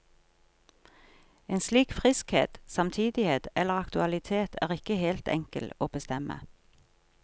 En slik friskhet, samtidighet eller aktualitet er ikke helt enkel å bestemme.